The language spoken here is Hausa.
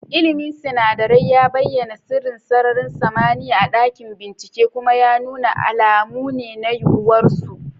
ilmin sinadarai ya bayyana sirrin sararin samaniya a dakin binciken, kuma ya nuna alamu ne na yiwuwar su.